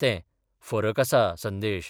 तेंः फरक आसा, संदेश.